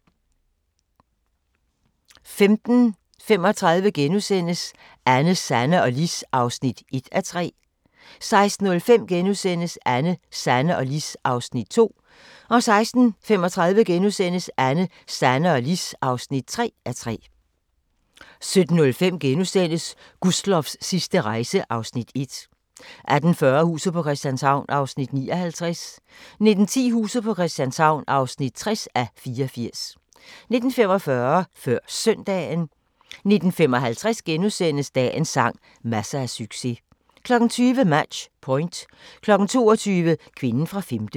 15:35: Anne, Sanne og Lis (1:3)* 16:05: Anne, Sanne og Lis (2:3)* 16:35: Anne, Sanne og Lis (3:3)* 17:05: Gustloffs sidste rejse (Afs. 1)* 18:40: Huset på Christianshavn (59:84) 19:10: Huset på Christianshavn (60:84) 19:45: Før Søndagen 19:55: Dagens sang: Masser af succes * 20:00: Match Point 22:00: Kvinden fra femte